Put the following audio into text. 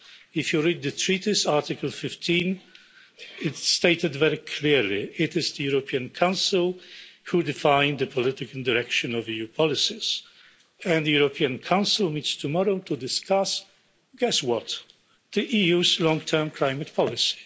If you read the Treaty's Article 15, it stated very clearly it is the European Council who define the political direction of EU policies. And the European Council meets tomorrow to discuss guess what? The EU's long term climate policy.